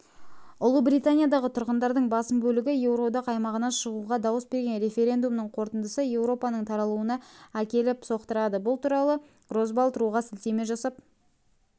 ұлыбританиядағы тұрғындардың басым бөлігі еуроодақ аймағынан шығуға дауыс берген референдумның қорытындысы еуропаның тарауына әкеліп соқтырады бұл туралы росбалт ру-ға сілтеме жасап